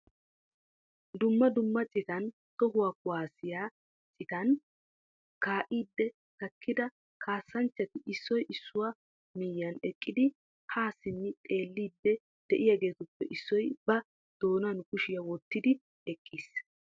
Dumma dumma citan tohuwa kuwassiya citan kaa'idi takkida kaassanchchati issoy issuwaa miyyiyan eqqidi ha simmi xeelliidi de'iyaagetuppe issoy ba doonan kushiyaa wottiidi eqqiis.